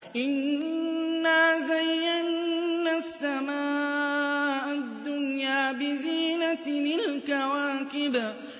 إِنَّا زَيَّنَّا السَّمَاءَ الدُّنْيَا بِزِينَةٍ الْكَوَاكِبِ